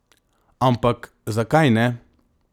Ampak, zakaj ne?